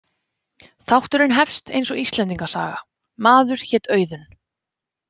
Þátturinn hefst eins og Íslendinga saga: „Maður hét Auðunn“.